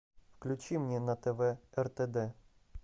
включи мне на тв ртд